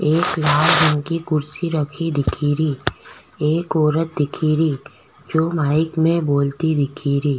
एक लाल रंग की कुर्शी रखी दिखेरी एक औरत दिखेरी जो माइक में बोलती दिखेरी।